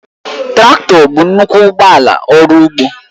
Traktọ bụ nnukwu ụgbọ ala ọrụ ugbo